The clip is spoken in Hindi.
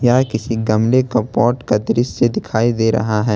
यह किसी गमले का पॉट का दृश्य दिखाई दे रहा है।